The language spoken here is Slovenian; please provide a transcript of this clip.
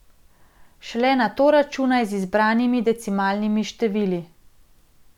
Šele nato računaj z izbranimi decimalnimi števili.